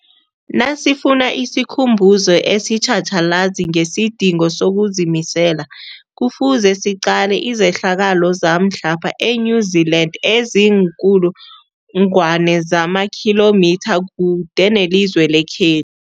Nasifuna isikhumbuzo esitjhatjhalazi ngesidingo sokuzimisela, Kufuze siqale izehlakalo zamhlapha e-New Zealand eziinkulu ngwana zamakhilomitha kude nelizwe lekhe